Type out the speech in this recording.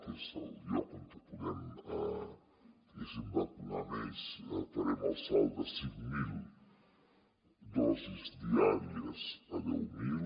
que és el lloc on podem diguéssim vacunar més farem el salt de cinc mil dosis diàries a deu mil